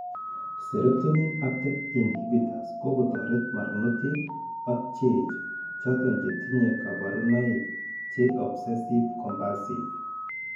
Serotonin uptake inhibitors kokotoret barnotik ak cheech ,choton chetinye kaborunoik che obsessive compulsive